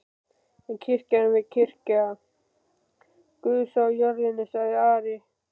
En kirkjan er kirkja Guðs á jörðinni, sagði Ari.